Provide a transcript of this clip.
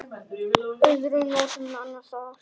Öðrum nóttum annars staðar?